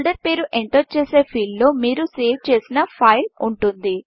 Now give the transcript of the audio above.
folder పేరు enter చేసే field లో మీరు సేవ్ చేసిన ఫైల్ ఉంటుంది